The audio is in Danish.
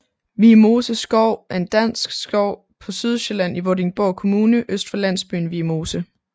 Viemose Skov er en dansk skov på Sydsjælland i Vordingborg Kommune øst for landsbyen Viemose